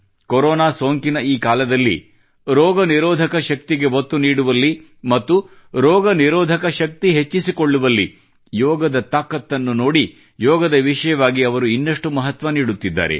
corona ಸೋಂಕಿನ ಈ ಕಾಲದಲ್ಲಿ ರೋಗನಿರೋಧಕ ಶಕ್ತಿಗೆ ಒತ್ತು ನೀಡುವಲ್ಲಿ ಮತ್ತು ರೋಗ ನಿರೋಧಕ ಶಕ್ತಿ ಹೆಚ್ಚಿಸಿಕೊಳ್ಳುವಲ್ಲಿ ಯೋಗದ ತಾಕತ್ತನ್ನು ನೋಡಿ ಯೋಗದ ವಿಷಯವಾಗಿ ಅವರು ಇನ್ನಷ್ಟು ಮಹತ್ವ ನೀಡುತ್ತಿದ್ದಾರೆ